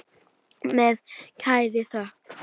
Með kærri þökk.